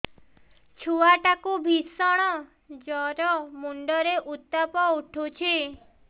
ଛୁଆ ଟା କୁ ଭିଷଣ ଜର ମୁଣ୍ଡ ରେ ଉତ୍ତାପ ଉଠୁଛି